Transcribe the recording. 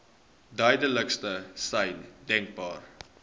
duidelikste sein denkbaar